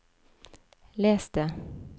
les det